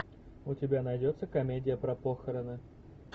у тебя найдется комедия про похороны